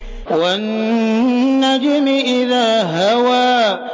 وَالنَّجْمِ إِذَا هَوَىٰ